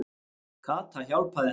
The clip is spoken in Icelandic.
Kata hjálpaði henni.